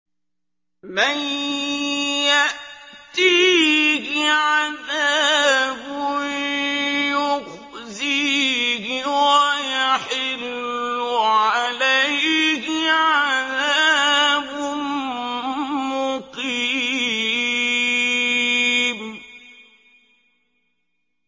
مَن يَأْتِيهِ عَذَابٌ يُخْزِيهِ وَيَحِلُّ عَلَيْهِ عَذَابٌ مُّقِيمٌ